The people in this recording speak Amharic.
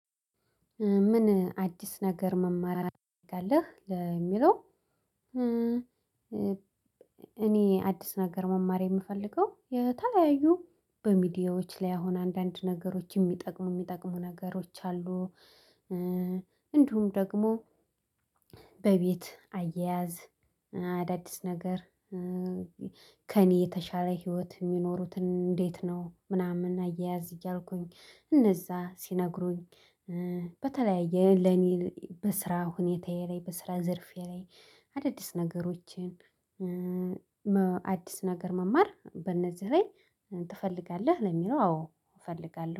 ምን አዲስ ነገር መማር ተፈልጋለህ ለሚለው? እኔ አዲስ ነገር መማር የምፈልገው የተለያዩ በሚዲያዎች ላይ አሁን አንዳንድ ነገሮች የሚጠቅሙ የሚጠቅሙ ነገሮች አሉ። እንዲሁም ደግሞ በቤት አያያዝ አዳዲስ ነገር ከእኔ የተሻለ ህይወት የሚኖሩትን እንዴት ነው ምናምን አያያዝ እያልኩኝ እነዛ ሲነግሩኝ። በተለያየ ለኔ በስራ ሁኔታዬ ላይ በስራ ዘርፌ ላይ አዳዲስ ነገሮችን። አዲስ ነገር መማር በእነዚህ ላይ ትፈልጋለህ ለሚለው አዎ እፈልጋለሁ